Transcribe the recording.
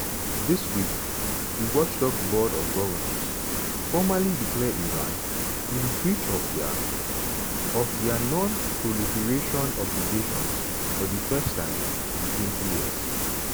dis week di watchdog board of govnors formally declare iran in breach of dia of dia non-proliferation obligations for di first time intwentyyears.